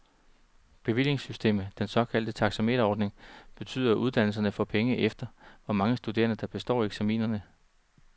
Bevillingssystemet, den såkaldte taxameterordning, betyder, at uddannelserne får penge efter, hvor mange studerende, der består eksaminerne.